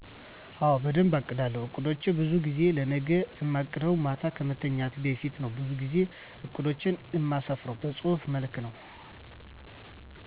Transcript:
አወ በደንብ አቅዳለው። አቅዶቸን በዙ ጊዜ ለነገ እማቅደው ማታ ከመተኛቴ በፊት ነው በዙ ጊዜ እቅዶቸን እማስፍርው በጹህፍ መልክ ነው።